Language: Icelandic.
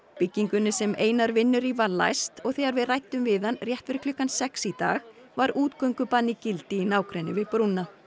byggingunni sem Einar vinnur í var læst og þegar við ræddum við hann rétt fyrir klukkan sex í dag var útgöngubann í gildi í nágrenni við brúna